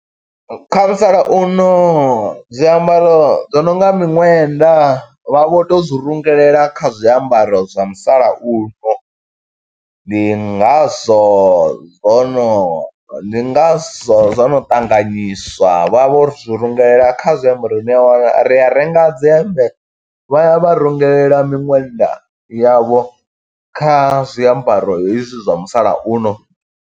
Kha musalauno zwiambaro zwo nonga miṋwenda. Vha vho to zwi rungelela kha zwiambaro zwa musalauno. Ndi ngazwo zwono, ndi ngazwo zwono ṱanganyiswa, vha vho ri zwi rungelela kha zwiambaro ine ni a wana, ri a renga dze hemmbe, vha ya vha rungelela miṅwenda yavho, kha zwiambaro hezwi zwa musalauno.